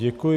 Děkuji.